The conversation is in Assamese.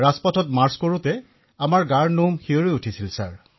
ৰাজপথত মাৰ্চ কৰাৰ সময়ত আমাৰ দেহৰ নোম শিয়ৰি উঠিছিল মহাশয়